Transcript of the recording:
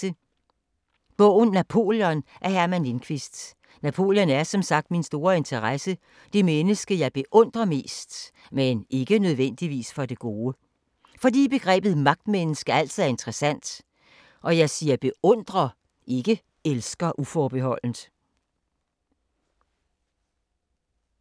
Bogen om Napoleon af Herman Lindquist. Napoleon er min store interesse, det menneske jeg beundrer mest og ikke for det gode, men fordi begrebet magtmenneske er interessant. Jeg siger beundrer – ikke elsker!